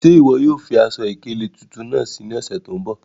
Ṣẹ́ iwọ yóò fí aṣọ-ikele tuntun naá sí ní òṣè tó nbọ̀?